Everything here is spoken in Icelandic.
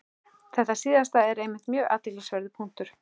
Þetta síðasta er einmitt mjög athyglisverður punktur.